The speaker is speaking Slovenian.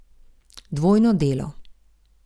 Dvojno delo.